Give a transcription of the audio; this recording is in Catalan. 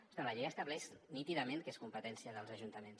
ostres la llei estableix nítidament que és competència dels ajuntaments